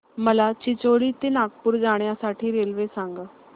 मला चिचोली ते नागपूर जाण्या साठी रेल्वे सांगा